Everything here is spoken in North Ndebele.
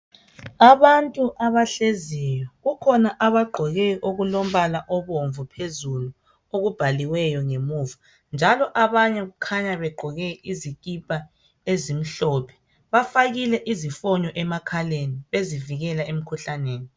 Abantu abahleziyo kukhona abagqoke okulombala obomvu phezulu okubhaliweyo ngemuva njalo abanye kukhanya begqoke izikipa ezimhlophe bafakile izifonyo emakhaleni ezivikela emkhuhlaneni.